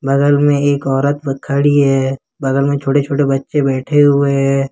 बगल मैं एक औरत खड़ी है बगल में छोटे छोटे बच्चे बैठे हुए हैं।